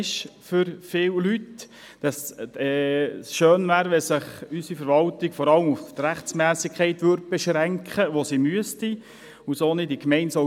Es wäre schön, wenn sich unsere Verwaltung vor allem auf die Rechtmässigkeit beschränken würde, denn das ist ja eigentlich ihre Aufgabe.